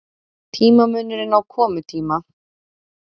Tímamunurinn á komutíma